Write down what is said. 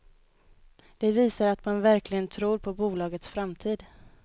Det visar att man verkligen tror på bolagets framtid.